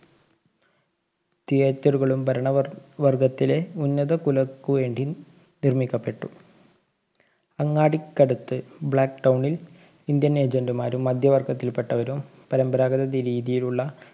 Theatre കളും ഭരണവര്‍~ വര്‍ഗ്ഗത്തിലെ ഉന്നതകുലര്‍ക്കുവേണ്ടിയും നിര്‍മ്മിക്കപ്പെട്ടു. അങ്ങാടിക്കടുത്തു black town ല്‍ Indian agent മാരും മധ്യവര്‍ഗ്ഗത്തില്‍പെട്ടവരും പരമ്പരാഗത രീതിയിലുള്ള